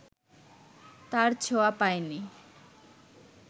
তার ছোঁয়া পায় নি